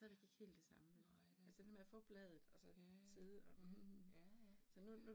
Ja, nej det er det ikke, ja, ja, ja ja, ja